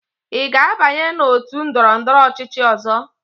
Ị ga-abanye na otu ndọrọndọrọ ọchịchị ọzọ?